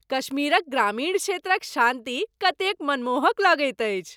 कश्मीरक ग्रामीण क्षेत्रक शान्ति कतेक मनमोहक लगैत अछि।